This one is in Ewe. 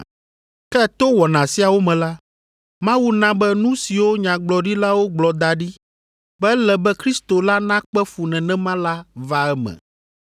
Ke to wɔna siawo me la, Mawu na be nu siwo nyagblɔɖilawo gblɔ da ɖi be ele be Kristo la nakpe fu nenema la va eme.